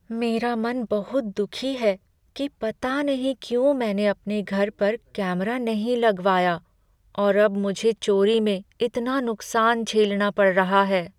मेरा मन बहुत दुखी है कि पता नहीं क्यों मैंने अपने घर पर कैमरा नहीं लगवाया और अब मुझे चोरी में इतना नुकसान झेलना पड़ रहा है।